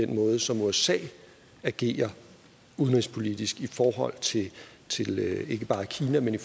den måde som usa agerer udenrigspolitisk på i forhold til ikke bare kina men